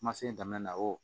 Kuma se daminɛna o